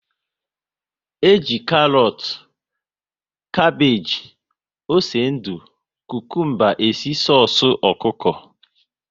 E ji karọt, kapage, ose ndụ, kukumba e si soosu ọkụkọ